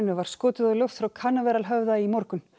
var skotið á loft frá Canaveral höfða í morgun